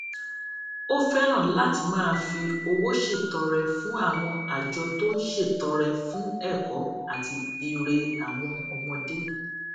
ó fẹràn láti máa fi owó ṣètọrẹ fún àwọn àjọ tó ń ṣètọrẹ fún ẹkọ àti ire àwọn ọmọdé